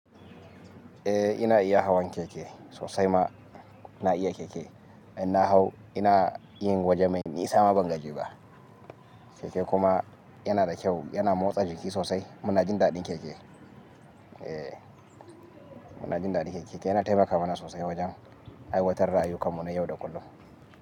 Eh ina iya hawan keke sosai ma na iya keke. Ina hau ina yin waje mai ni isa ma ban gaji ba. Keke kuma yana da kyau yana motsa jiki sosai. Muna jin daɗin keke. Eh muna jin daɗin keke yana taimakawa mana sosai wajen aiwatar da ayukan mu na yau da kullum.